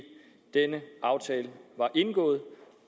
denne aftale ikke var indgået